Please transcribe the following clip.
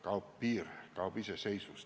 Kui kaob piir, kaob iseseisvus.